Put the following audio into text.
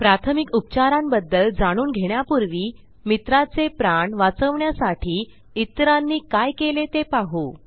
प्राथमिक उपचारांबद्ल जाणून घेण्यापूर्वी मित्राचे प्राण वाचवण्यासाठी इतरांनी काय केले ते पाहू